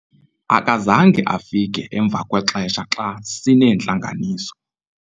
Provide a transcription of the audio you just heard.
akazange afike emva kwexesha xa sineentlanganiso